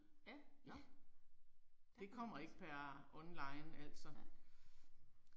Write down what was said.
Ja, Nåh. Der kan man. Nej